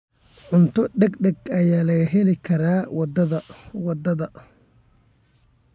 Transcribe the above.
Cunto degdeg ah ayaa laga heli karaa waddada.